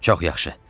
Çox yaxşı.